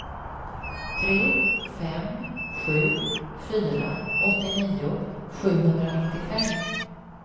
tre fem sju fyra åttionio sjuhundranittiofem